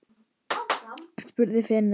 spurði Finnur.